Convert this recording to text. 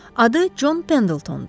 Adı Con Pendltndur.